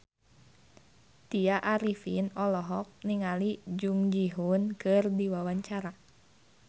Tya Arifin olohok ningali Jung Ji Hoon keur diwawancara